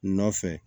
Nɔfɛ